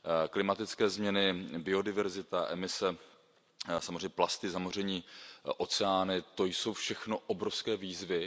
Klimatické změny, biodiverzita, emise, samozřejmě plasty, zamoření oceánů, to jsou všechno obrovské výzvy.